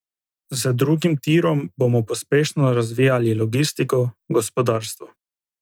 Z drugim tirom bomo pospešeno razvijali logistiko, gospodarstvo.